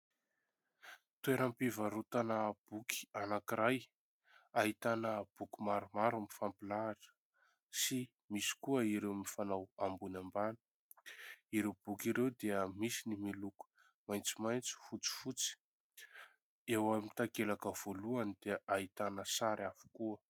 Toeram-pivarotana boky anankiray ahitana boky maromaro mifampilahatra sy misy koa ireo mifanao ambony ambany. Ireo boky ireo dia misy ny miloko maitsomaitso, fotsifotsy ; eo amin'ny takelaka voalohany dia ahitana sary avokoa.